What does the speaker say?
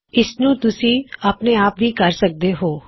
ਇਸਨੂੰ ਤੁਸੀ ਆਪਣੇ ਆਪ ਵੀ ਕਰ ਕੇ ਦੇਖੋ